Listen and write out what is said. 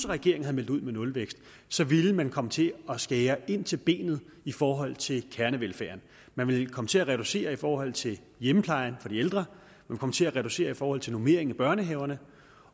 regeringen havde meldt ud med nulvækst så ville man komme til at skære ind til benet i forhold til kernevelfærden man ville komme til at reducere i forhold til hjemmeplejen for de ældre komme til at reducere i forhold til normeringen i børnehaverne